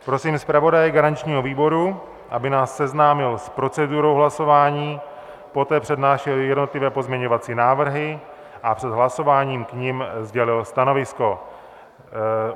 Prosím zpravodaje garančního výboru, aby nás seznámil s procedurou hlasování, poté přednášel jednotlivé pozměňovací návrhy a před hlasováním k nim sdělil stanovisko.